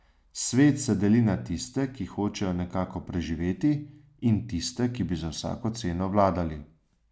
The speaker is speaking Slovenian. Svet se deli na tiste, ki hočejo nekako preživeti, in tiste, ki bi za vsako ceno vladali.